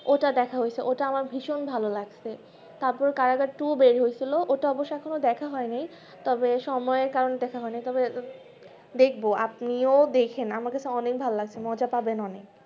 ওটা দেখা হৈছে ওটা আমার ভীষণ ভালো লাগছে তার পর কারাগার two বার হয়েছে ওটা অবশ্য এখুন ও দেখা হয়নি তবে সময়ের কারণে দেখা হয়নি তবে দেখবো আপনিও দেখেন আমাকে তো ভালো লাগছে মজা পাবেন অনেক